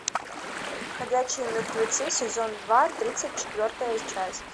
ходячие мертвецы сезон два тридцать четвертая часть